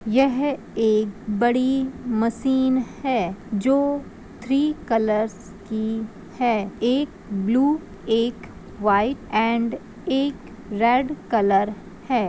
यह एक बड़ी मशीन है जो थ्री कलर की है एक ब्लू एक वाइट एंड एक रेड कलर है।